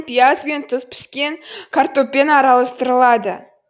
пияз бен тұз піскен картоппен араластырылады